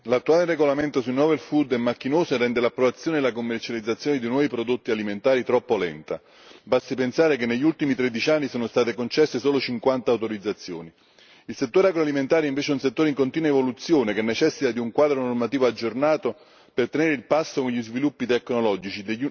Signora Presidente, onorevoli colleghi, l'attuale regolamento sui è macchinoso e rende l'approvazione e la commercializzazione di nuovi prodotti alimentari troppo lenta basti pensare che negli ultimi tredici anni sono state concesse solo 50 autorizzazioni. Il settore agroalimentare, invece, è un settore in continua evoluzione, che necessita di un quadro normativo aggiornato per tenere il passo con gli sviluppi tecnologici